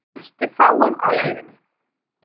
Hann mætti fáum á leiðinni.